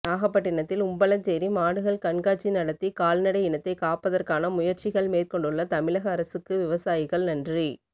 நாகப்பட்டினத்தில் உம்பளச்சேரி மாடுகள் கண்காட்சி நடத்தி கால்நடை இனத்தை காப்பதற்கான முயற்சிகள் மேற்கொண்டுள்ள தமிழக அரசுக்கு விவசாயிகள் நன்றி